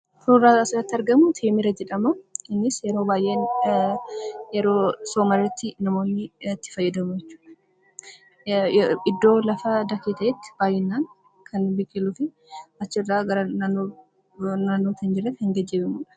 Suuraan asirratti argamu teemira jedhamaa, innis yeroo baayyee yeroo soomaarratti namoonni itti fayyadamuu jechuudha. Iddoo lafa dakee ta'etti baayyinaan kan biqiluufi achirraa gara naannoo hin jirreetti kan geejjibamudha.